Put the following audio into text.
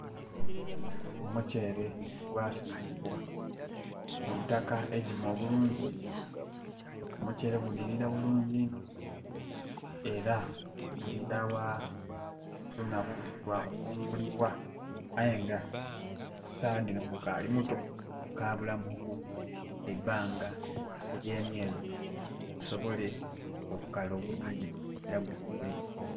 Omutyeere gwasimbibwa, mu itaka eigimu obulungi. Omutyeere gunhirira bulungi inho, era gulinda bwa lunaku lwa kukungulibwa. Aye nga saagha dhino gukaali muto, gukabulamu ku ku, eibanga elyemyeezi gusobole okukala obulungi era gukungulibwe.